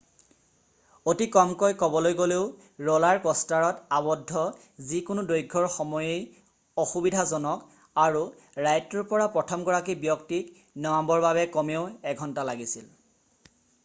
অতি কমকৈ ক'বলৈ গ'লেও ৰ'লাৰ কষ্টাৰত আৱদ্ধ যিকোনো দৈৰ্ঘ্যৰ সময়েই অসুবিধাজনক আৰু ৰাইডটোৰ পৰা প্ৰথমগৰাকী ব্যক্তিক নমাবৰ বাবে কমেও এঘন্টা লাগিছিল